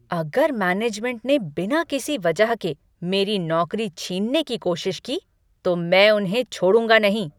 अगर मैनेजमेंट ने बिना किसी वजह के मेरी नौकरी छीनने की कोशिश की, तो मैं उन्हें छोड़ूँगा नहीं।